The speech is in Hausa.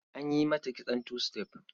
An yi mata kitson two step.